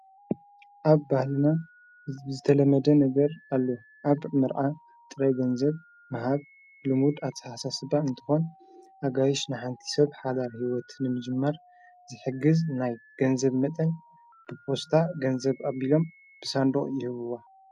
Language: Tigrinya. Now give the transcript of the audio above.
ኣብ ባህልና ዝተለመደ ነበር ኣሉ ኣብ ምርኣ ጥረ ገንዘብ መሃብ ልሙድ ኣትሓሳ ስበ እንተኾን ኣጋይሽ ንሓንቲ ሰብ ሓዳር ሕይወትን እምጅማር ዝሕግዝ ናይ ገንዘብ መጠን ብጶስታ ገንዘብ ኣቢሎም ብሳንዶቕ ይህብዋ።